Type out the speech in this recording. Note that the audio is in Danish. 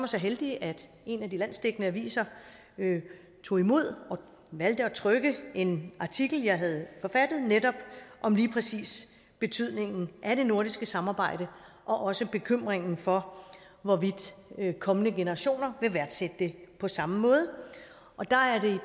så heldig at en af de landsdækkende aviser tog imod og valgte at trykke en artikel jeg havde forfattet om lige præcis betydningen af det nordiske samarbejde og også bekymringen for hvorvidt kommende generationer vil værdsætte det på samme måde der er det